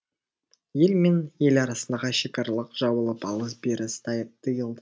ел мен ел арасындағы шекаралар жабылып алыс беріс тыйылды